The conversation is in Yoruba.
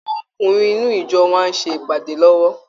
Àwọn ọkùnrin inú ìjọ wa ń ṣe ìpàdé lọ́wọ́